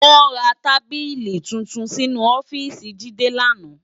Wò rá tábìlí tútún sinú òfìsí Jide làná